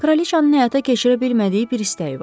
Kraliçanın həyata keçirə bilmədiyi bir istəyi var.